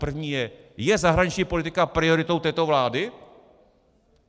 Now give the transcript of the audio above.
První je: Je zahraniční politika prioritou této vlády?